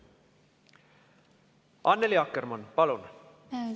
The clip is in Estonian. Annely Akkermann, palun!